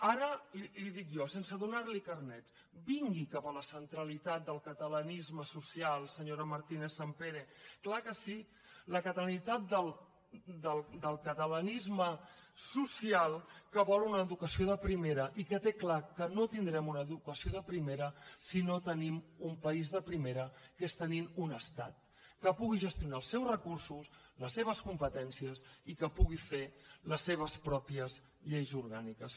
ara li ho dic jo sense donarli carnet vingui cap a la centralitat del catalanisme social senyora martínezsampere clar que sí la catalanitat del catalanisme social que vol una educació de primera i que té clar que no tindrem una educació de primera si no tenim un país de primera que és tenint un estat que pugui gestionar els seus recursos les seves competències i que pugui fer les seves pròpies lleis orgàniques